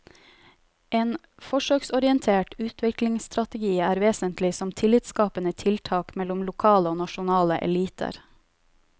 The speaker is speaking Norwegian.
En forsøksorientert utviklingsstrategi er vesentlig som tillitsskapende tiltak mellom lokale og nasjonale eliter.